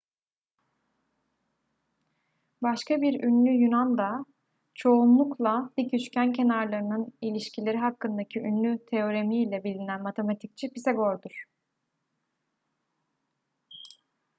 başka bir ünlü yunan da çoğunlukla dik üçgen kenarlarının ilişkileri hakkındaki ünlü teoremiyle bilinen matematikçi pisagor'dur